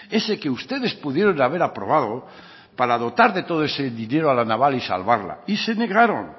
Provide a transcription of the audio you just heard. ese que ustedes pudieron haber aprobado para dotar de todo ese dinero a la naval y salvarla y se negaron